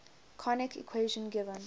conic equation given